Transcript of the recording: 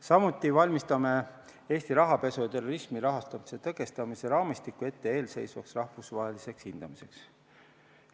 Samuti valmistame Eesti rahapesu ja terrorismi rahastamise tõkestamise raamistiku ette eelseisvaks rahvusvaheliseks hindamiseks.